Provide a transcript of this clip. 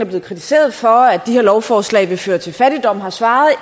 blevet kritiseret for at de her lovforslag vil føre til fattigdom har svaret